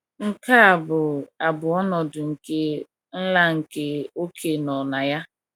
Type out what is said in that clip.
nke a bụ a bụ Ọnọdụ nke nla nke oké nọ na ya.